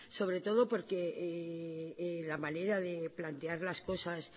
sobre todo porque la manera de plantear las cosas